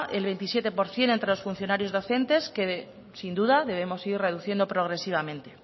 el veintisiete por ciento entre los funcionarios docentes que sin duda debemos ir reduciendo progresivamente